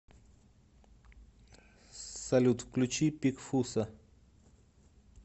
салют включи пик фусса